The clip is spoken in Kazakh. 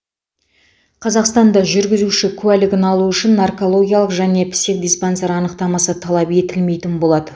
қазақстанда жүргізуші куәлігін алу үшін наркологиялық және психодиспансер анықтамасы талап етілмейтін болады